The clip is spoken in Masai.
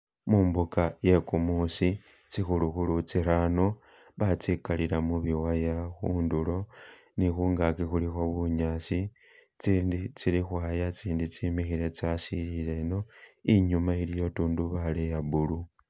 Mumbuga yegumusi tsikhulukhulu tsirano batsigalila mubiwaya khundulo ni khungagi khulikho bunyasi tsindi tsili khwaya tsindi tsimikhile tsasilile ino inyuma iliyo tundubaale ya blue.